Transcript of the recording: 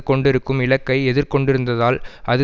கொண்டிருக்கும் இலக்கை எதிர் கொண்டிருந்ததால் அது